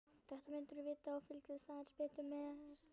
Þetta myndirðu vita ef þú fylgdist aðeins betur með.